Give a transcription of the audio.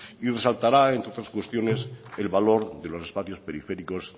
y resaltará entre otras cuestiones el valor de los espacios periféricos